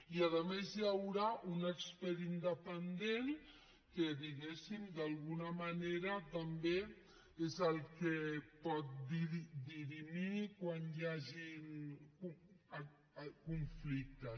i a més hi haurà un expert independent que diguéssim d’alguna manera també és el que pot dirimir quan hi hagin conflictes